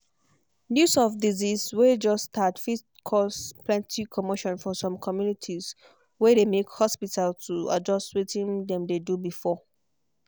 news of disease way just start fit cause plenty commotion for some communitiesway they make hospita to adjust wetin them dey do before.